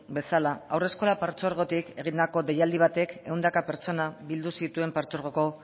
bezala haurreskolak partzuergotik egindako deialdi batek ehunka pertsona bildu zituen partzuergoko